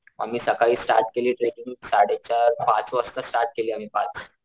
आम्ही सकाळी स्टार्ट केली ट्रेकिंग साडे चार पाच वाजता स्टार्ट केली आम्ही पाच,